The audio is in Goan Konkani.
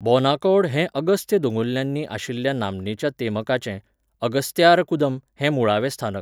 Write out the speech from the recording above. बोनाकौड हें अगस्त्य दोंगुल्ल्यांनी आशिल्ल्या नामनेच्या तेमकाचें, अगस्त्यारकूदम हें मुळावें स्थानक.